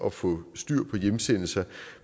at få styr på hjemsendelser